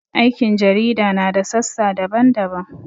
Aikin jarida na da sassa daban-daban.